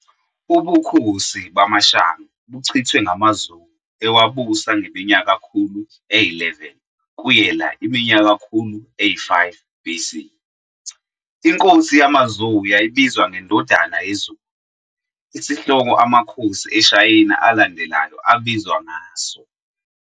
Ubukhosi bamaShang buchithwe ngamaZhou ewabusa ngeminyakakhulu eyi-11 kuyela iminyakakhulu eyi-5 BC. Inkosi yamaZhou yayibizwa ngeNdodana yeZulu, isihloko amakhosi eShayina alandelayo abizwa ngaso.